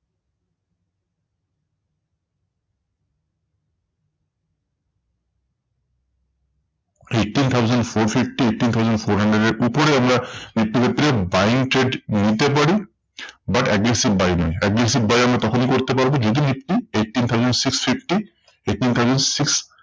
Eighteen thousand four fifty eighteen thousand four hundred এর উপরে আমরা নিফটির ক্ষেত্রে আমরা buying trade নিতে পারি। but aggressive buy নয়, aggressive buy আমরা তখনি করতে পারবো, যদি Nifty eighteen thousand six fifty eighteen thousand six